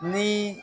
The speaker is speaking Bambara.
Ni